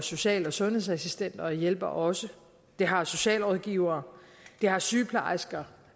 social og sundhedsassistenter og hjælpere også det har socialrådgivere sygeplejersker